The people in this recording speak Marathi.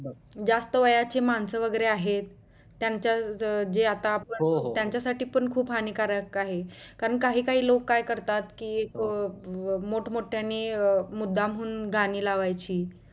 जास्त वयाची मानस वगैरे आहेत त्यांच्या जे आता आपण त्याच्या साठी पण खूप हानिकारक आहे कारण काही काही लोक काय करतात कि मोठं मोठ्यांनी मुदाम हुन गाणी लावायची